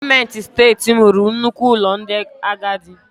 Gọọmenti Steeti m rụrụ nnukwu ụlọ ndị agadi.